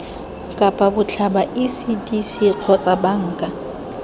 kapa botlhaba ecdc kgotsa banka